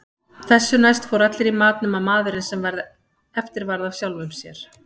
Þessu næst fóru allir í mat nema maðurinn sem eftir varð af sjálfum sér.